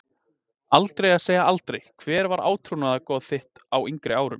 Aldrei að segja aldrei Hver var átrúnaðargoð þitt á yngri árum?